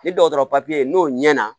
Ni dɔgɔtɔrɔ papiye n'o ɲɛna